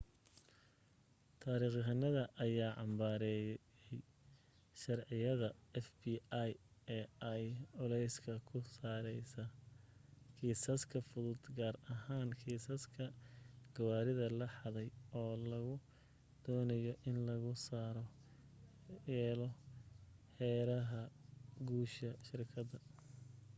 taarikhyahanada ayaa cambaareeyey sharciyada fbi-da ay culeyska ku saarayaan kiisaska fudud gaar ahaam kiisaska gawaarida la xadey oo lagu doonayo in lagu sare yeelo heeraha guusha shirkadda